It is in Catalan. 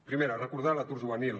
primera recordar l’atur juvenil